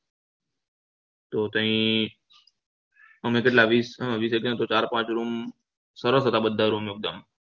તો કઈ અમે કેટલા વીસ ચાર પાંચ room સરસ હતા બધા room એક દમ